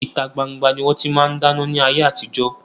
Ìta gbangba ni wọn ti máa ń dáná ni ayé àtijọ́